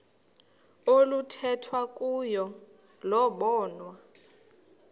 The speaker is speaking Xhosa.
oluthethwa kuyo lobonwa